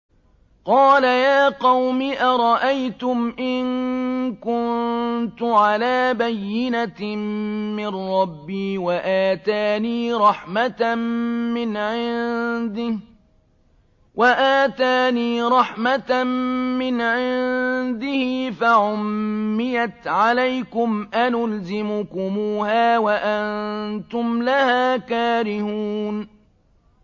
قَالَ يَا قَوْمِ أَرَأَيْتُمْ إِن كُنتُ عَلَىٰ بَيِّنَةٍ مِّن رَّبِّي وَآتَانِي رَحْمَةً مِّنْ عِندِهِ فَعُمِّيَتْ عَلَيْكُمْ أَنُلْزِمُكُمُوهَا وَأَنتُمْ لَهَا كَارِهُونَ